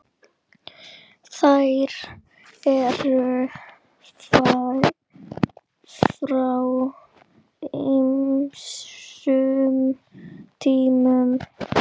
Þær eru frá ýmsum tímum.